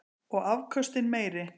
Og afköstin meiri.